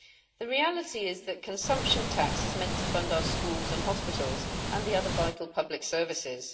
The reality is that consumption tax is meant to fund our schools and hospitals and the other vital public services.